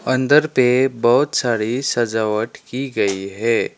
अंदर पे बहोत सारी सजावट की गई है।